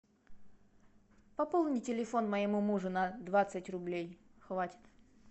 пополни телефон моему мужу на двадцать рублей хватит